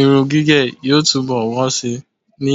Irun gígẹ̀ yóò túnbọ̀ wọ́n síi ní